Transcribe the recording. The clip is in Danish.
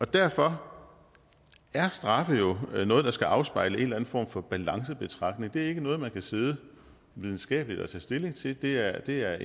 derfor er straffe jo noget der skal afspejle en eller anden form for balancebetragtning det er ikke noget man kan sidde videnskabeligt at tage stilling til det er det er